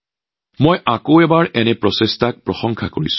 এনে প্ৰচেষ্টাক মই পুনৰবাৰ প্ৰশংসা কৰিছো